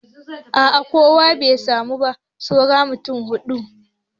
A a kowa bai samu ba saura mutum huɗu.